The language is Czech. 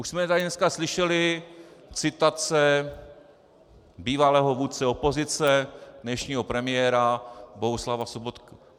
Už jsme tady dneska slyšeli citace bývalého vůdce opozice, dnešního premiéra Bohuslava Sobotky.